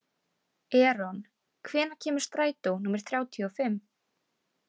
Eron, hvenær kemur strætó númer þrjátíu og fimm?